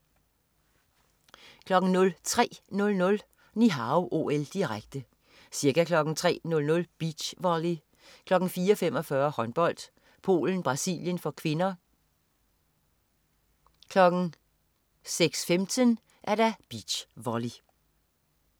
03.00 Ni Hao OL, direkte. Ca. kl. 03.00: Beach volly, kl. 04.45: Håndbold: Polen-Brasilien (k), kl. 06.15: Beach volley